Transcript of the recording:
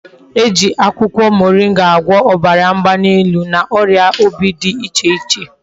E ji akwukwo moringa agwo obara mgbalielu na oria obi di iche iche